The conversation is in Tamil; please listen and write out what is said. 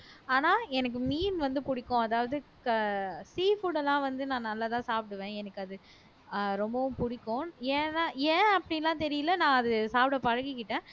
ஆனா எனக்கு மீன் வந்து புடிக்கும் அதாவது க sea food எல்லாம் வந்து நான் நல்லாதான் சாப்பிடுவேன் எனக்கு அது ஆஹ் ரொம்பவும் பிடிக்கும் ஏன்னா ஏன் அப்படியெல்லாம் தெரியலே நான் அது சாப்பிட பழகிக்கிட்டேன்